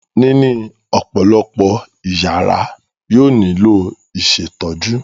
Níní ọ̀pọ̀lọpọ̀ ìyàrá yóò nílò ìṣètọ́jú.